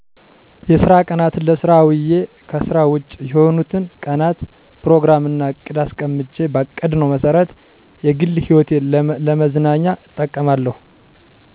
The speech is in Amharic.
የስራ ቀናትን ለስራ አዉየ ከስራ ዉጭ የሆኑትን ቀናት ፕሮግራም እና እቅድ አስቀምጬ ባቀድነው መሰረት የግል ህይወቴን ለመዝናኛ እጠቀማለሁ